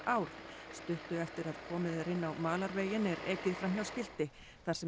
ár stuttu eftir að komið er inn á malarveginn er ekið fram hjá skilti þar sem